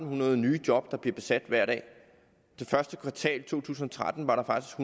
hundrede nye job der bliver besat hver dag i første kvartal af to tusind og tretten var der faktisk